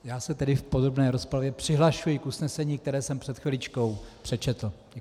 Já se tedy v podrobné rozpravě přihlašuji k usnesení, které jsem před chviličkou přečetl.